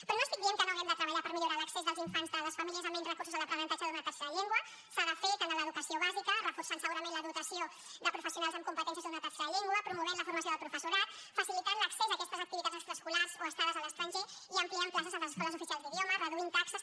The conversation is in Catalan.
però no estic dient que no haguem de treballar per millorar l’accés dels infants de les famílies amb menys recursos a l’aprenentatge d’una tercera llengua s’ha de fer tant a l’educació bàsica reforçant segurament la dotació de professionals amb competències d’una tercera llengua promovent la formació del professorat facilitant l’accés a aquestes activitats extraescolars o estades a l’estranger i ampliant places a les escoles oficials d’idiomes reduint taxes